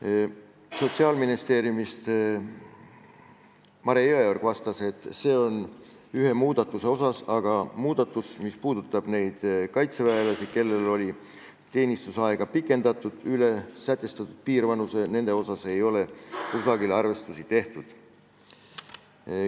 Mare Jõeorg Sotsiaalministeeriumist vastas, et arvutus on tehtud ühe muudatuse kohta, aga nende kaitseväelaste kohta, kelle teenistusaega oli pikendatud üle sätestatud piirvanuse, ei ole kusagil arvestusi tehtud.